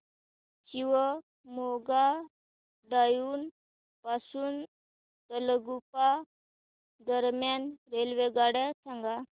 Shivamogga town पासून तलगुप्पा दरम्यान रेल्वेगाड्या सांगा